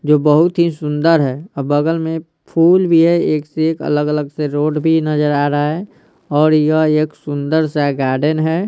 जो बहुत ही सुंदर हैऔर बगल में फूल भी है एक से एक अलग-अलग से रोड भी नजर आ रहा हैऔर यह एक सुंदर सा गार्डन है।